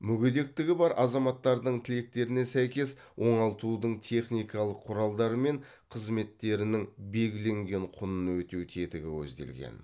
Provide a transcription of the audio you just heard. мүгедектігі бар азаматтардың тілектеріне сәйкес оңалтудың техникалық құралдары мен қызметтерінің белгіленген құнын өтеу тетігі көзделген